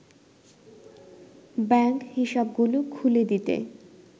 bank হিসাবগুলো খুলে দিতে